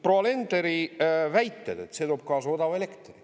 Proua Alenderi väited on, et see toob kaasa odava elektri.